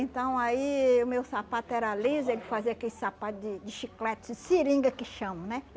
Então, aí, o meu sapato era liso, ele fazia aquele sapato de de chiclete, de seringa que chamam, né?